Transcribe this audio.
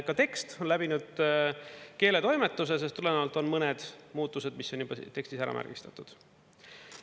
Ka tekst on läbinud keeletoimetuse, sellest tulenevalt on mõned muutused, mis on juba tekstis ära märgistatud.